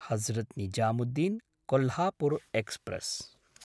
Hazrat Nizamuddin Kolhapur express